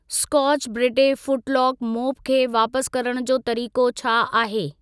Scotch Brite फूटलॉक mop खे वापस करण जो तरीक़ो छा आहे?